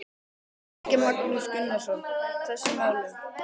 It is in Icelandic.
Helgi Magnús Gunnarsson: Þessum málum?